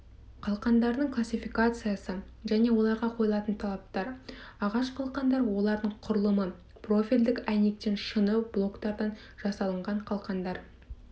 қалқандардың классификациясы және оларға қойылатын талаптар ағаш қалқандар олардың құрылымы профильдік әйнектен шыны блоктардан жасалынған қалқандар